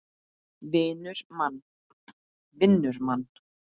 Vinnur mann.